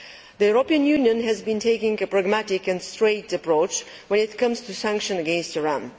The European Union has been taking a pragmatic and straightforward approach when it comes to sanctions against Iran.